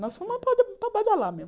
Nós fomos para para badalar mesmo.